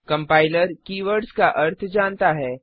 compiler keywords का अर्थ जानता है